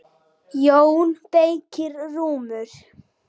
JÓN BEYKIR: Rúmur!